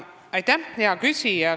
Aitäh, hea küsija!